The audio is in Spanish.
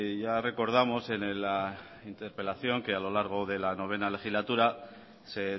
ya recordamos en la interpelación que a lo largo de la novena legislatura se